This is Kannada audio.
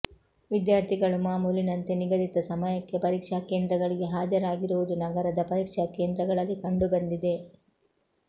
ವಿದ್ಯಾರ್ಥಿಗಳು ಮಾಮೂಲಿನಂತೆ ನಿಗದಿತ ಸಮಯಕ್ಕೆ ಪರೀಕ್ಷಾ ಕೇಂದ್ರಗಳಿಗೆ ಹಾಜರಾಗಿರುವುದು ನಗರದ ಪರೀಕ್ಷಾ ಕೇಂದ್ರಗಳಲ್ಲಿ ಕಂಡು ಬಂದಿದೆ